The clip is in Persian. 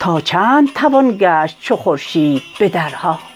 تا چند توان گشت چو خورشید به درها